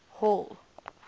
hall